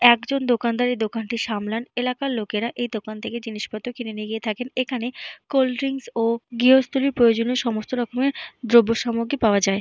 একজন দোকানদার এই দোকানটি সামলান। এলাকার লোকেরা এই দোকান থেকে জিনিসপত্র কিনে নিয়ে গিয়ে থাকেন। এখানে কোল্ড ড্রিঙ্কস ও গৃহস্থালির প্রয়োজনীয় সমস্ত রকমের দ্রব্যসমগ্র পাওয়া যায়।